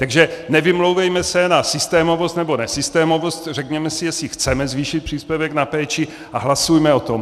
Takže nevymlouvejme se na systémovost nebo nesystémovost, řekněme si, jestli chceme zvýšit příspěvek na péči, a hlasujme o tom!